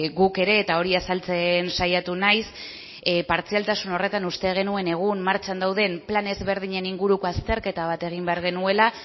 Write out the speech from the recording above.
guk ere eta hori azaltzen saiatu naiz partzialtasun horretan uste genuen egun martxan dauden plan ezberdinen inguruko azterketa bat egin behar genuela